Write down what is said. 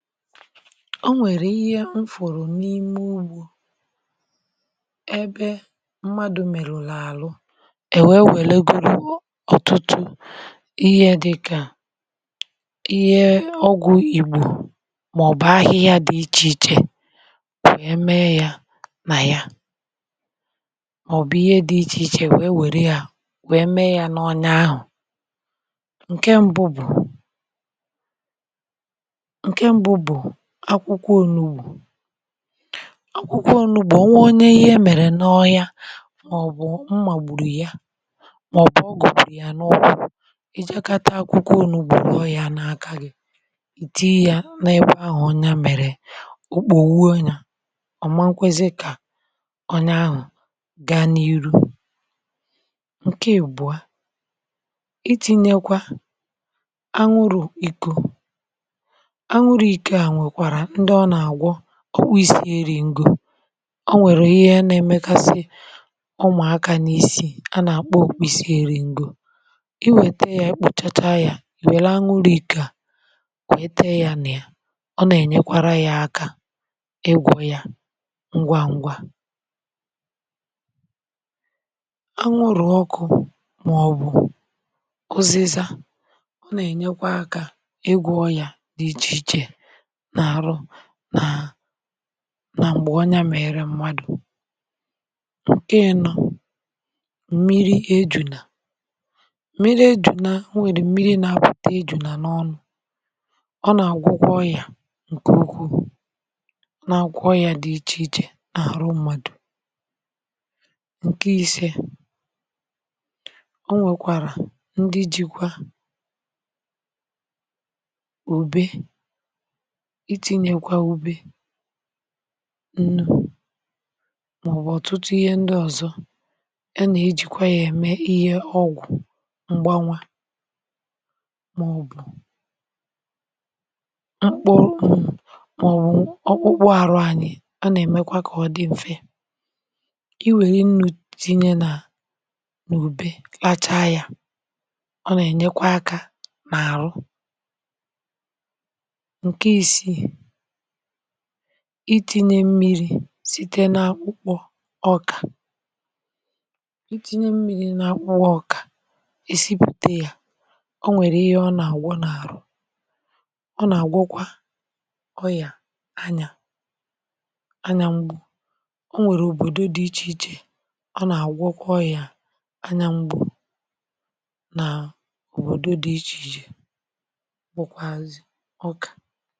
ọ nwèrè ihe m fòrò n’ime ugbȯ ebe mmadụ̀ mèrè ụlọ̀àlụ è wèe wèle goro ugbȯ um ọtụtụ ihe dịkà ihe ọgwụ̀ ìgbò maọbụ̀ ahịhịa dị ichè ichè wee mee ya nà ya maọbụ̀ ihe dị ichè ichè wèe wère ya uh wèe mee ya n’ọne ahụ̀ ǹke mbụ bụ̀ akwụkwọ onugbu̇ akwụkwọ onugbu̇ ọ nwe onye ihe mere n’ọhịa maọbụ̀ mmagbùrù ya um maọbụ̀ ọ gọ̀bùrù ya n’ọkwụ̇ ịjịakọta akwụkwọ onugbu̇ rọọ ya n’aka gị ì tinye ya n’ekwe ahụ̀ onye ya mere ụkpụ̀ owuwe ọma nkwezịa kà ọnya ahụ̀ gaa n’iru nke ìgbuà itinyekwa aṅụrụ̀ iko ọkwụ̇ um isi̇ erì ngọ̀ ọ nwèrè ihe na-emekasị ụmụ̀ akȧ n’isi̇ a nà-àkpọ kwisi erì ngọ̀ uh i wète yȧ ịkpụ̇chacha yȧ i wète anwụrụ̇ um i̇kè a kwète yȧ nà ya ọ nà-ènyekwara yȧ akȧ ịgwọ̇ yà ngwa ngwȧ a nwụrụ̀ ọkụ̇ maọbụ̀ ụzịza ọ nà-ènyekwa akȧ ịgwọ̇ yà dị ichè ichè nà àrụ nà m̀gbè onya mèrè mmadụ̀ um ǹkẹ̀ nọ̇ m̀miri ejùnà m̀miri ejùnà m̀wèrè m̀miri nȧ-apụ̀ta ejùnà n’ọnụ̇ um ọ nà-agwọkwoọ ya ǹkẹ̀ okwu na-agwọkwoọya dị ichè ichè n’àrụ mmadụ̀ uh ǹkẹ̀ isė o nwèkwàrà ndị jikwa òbe ǹnụ̀ maọbụ̀ ọ̀tụtụ ihe ndị ọ̀zọ ẹ nà-ejikwa yȧ ẹmẹ um ihe ọgwụ̀ mgbanwa maọbụ̀ mkpụ́ụ̇ ọkpụkpụ arụ anyị ọ nà-èmekwa kà ọ dị m̀fẹ i wèrè nnu tinye nà ùbe klacha yȧ um ọ nà-ènyekwa akȧ nà-àrụ itinye mmiri̇ site n’akpụkpọ̀ ọkà itinye mmiri̇ n’akpụkpọ̀ ọkà è sipùte yȧ o nwèrè ihe ọ nà-àgwọ n’àrụ ọ nà-àgwọkwa ọyà anyà anya ngbù um o nwèrè òbòdo dị ichèichè ọ nà-àgwọkwa ọyà anya ngbù nà òbòdo dị̇ ichèichè